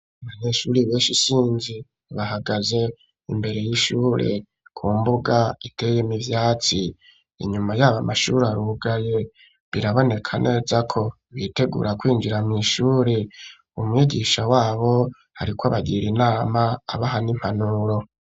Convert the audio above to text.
Abanyeshuri benshi isinzi, bahagaze imbere y'ishure, ku mbuga iteye imivyatsi ,inyuma y'aba mashuri arugaye, biraboneka neza ko bitegura kwinjira mw' ishuri umwigisha wabo, ari ko bagira inama abahana impanuro.